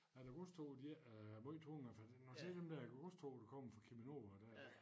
At æ godstog de ikke er måj tunge i hvert fald tænker når jeg ser dem der godstoge der kommer fra Cheminova dér